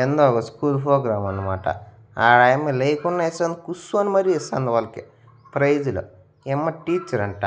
ఎందో ఒగ school program అన్నమాట ఆడయమ్మ లెయ్ కుండా ఇస్తుంది కుస్సోని మరి ఇస్తుంది వాళ్లకి ప్రైజులు ఈ అమ్మ టీచరంట